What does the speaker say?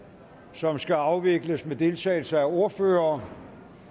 som skal afvikles med deltagelse af ordførere